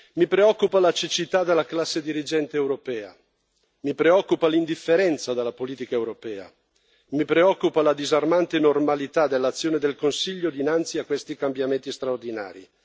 Mi preoccupa la cecità della classe dirigente europea, mi preoccupa l'indifferenza della politica europea, mi preoccupa la disarmante normalità dell'azione del Consiglio dinanzi a questi cambiamenti straordinari.